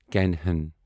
کنہن